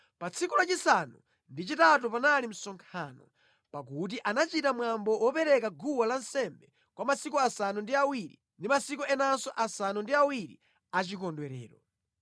Pa tsiku lachisanu ndi chitatu panali msonkhano, pakuti anachita mwambo wopereka guwa lansembe kwa masiku asanu ndi awiri ndi masiku enanso asanu ndi awiri achikondwerero.